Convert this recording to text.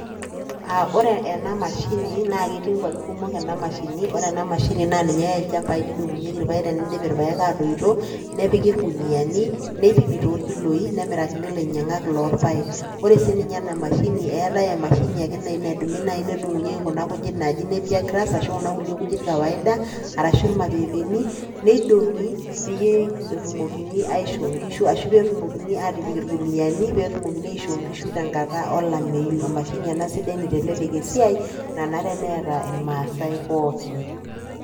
Ore ena mashini naa ketii nkuapi kumok ena mashini. Ore ena mashini na ninye eyai ilchambai neidong'unyeki irpaek tenidip irpaek atoito nepiki irkuniani neipimi torkiloi nemirakini ilainyang'ak lorpaek. Ore sii ninye ena mashini eetae emashini naji ake nadumuni nedung'unyeki entoki naji nappier grass ashu kuna kuna kulie kujit kawaida arashu irmapeepeni neidong'i peyie etumoki aisho nkishu ashu peitumokini atipik irguniani petumokini aisho nkishu tenkata olameyu. Emashini ena sidai naitelelek esiai nanare neeta irmasai pookin.